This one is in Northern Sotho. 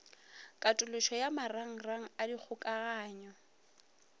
katološo ya marangrang a dikgokagano